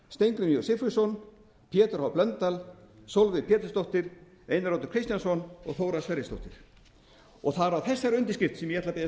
steingrímur j sigfússon pétur h blöndal sólveig pétursdóttir einar oddur kristjánsson og þóra sverrisdóttir það er á þessari undirskrift sem ég ætla að biðjast